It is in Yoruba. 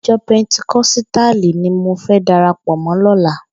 Ijò pèntíkòsítáli ni mó fè dàrápò mò lòlá